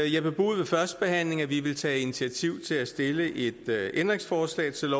jeg bebudede ved førstebehandlingen at vi ville tage initiativ til at stille et ændringsforslag til